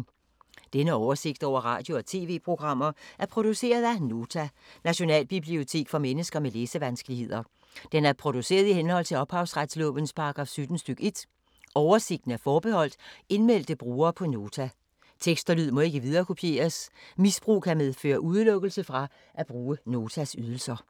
Denne oversigt over radio og TV-programmer er produceret af Nota, Nationalbibliotek for mennesker med læsevanskeligheder. Den er produceret i henhold til ophavsretslovens paragraf 17 stk. 1. Oversigten er forbeholdt indmeldte brugere på Nota. Tekst og lyd må ikke viderekopieres. Misbrug kan medføre udelukkelse fra at bruge Notas ydelser.